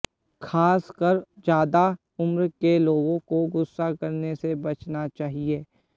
खास कर ज्यादा उम्र के लोगों को गुस्सा करने से बचना चाहिए